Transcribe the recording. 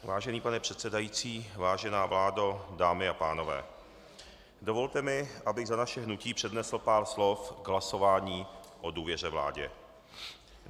Vážený pane předsedající, vážená vládo, dámy a pánové, dovolte mi, abych za naše hnutí přednesl pár slov k hlasování o důvěře vládě.